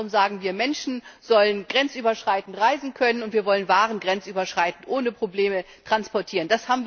Unter anderem sagen wir, Menschen sollen grenzüberschreitend reisen können und wir wollen Waren grenzüberschreitend ohne Probleme transportieren.